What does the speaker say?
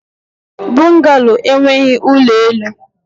Bungalo enweghị ụlọ elu.